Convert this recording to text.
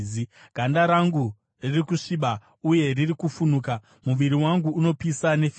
Ganda rangu riri kusviba uye riri kufunuka; muviri wangu unopisa nefivha.